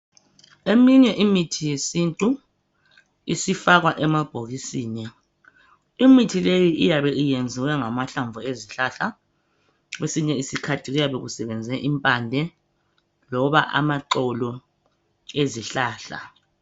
Eminye imithi yesintu isifakwa emabhokisini imithi leyi iyabe iyenziwe ngamahlamvu ezihlahla . Kwesinye isikhathi kuyabe kusebenze impande loba amaxolo ezihlahla.